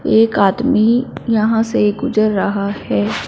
एक आदमी यहां से गुज़र रहा है।